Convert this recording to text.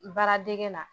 Baaradege na